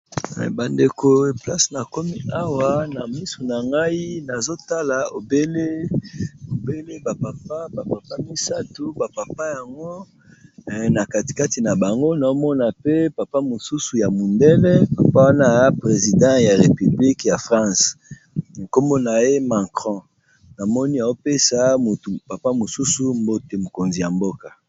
bandeko place na komi awa na misu na ngai nazotala obele bapapa bapapa misatu bapapa yango na katikati na bango naomona pe papa mosusu ya mundele papa wana ya president ya repiblike ya france nkomo na ye macron na moni a opesa motu papa mosusu mbote mokonzi ya mboka